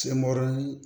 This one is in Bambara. Senkɔrɔli